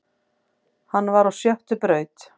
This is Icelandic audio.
Hann var á sjöttu braut